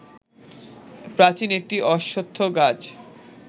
প্রাচীন একটি অশ্বত্থগাছ